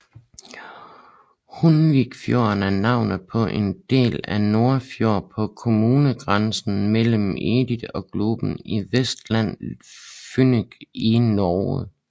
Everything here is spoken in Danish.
Hundvikfjorden er navnet på en del af Nordfjord på kommunegrænsen mellem Eid og Gloppen i Vestland fylke i Norge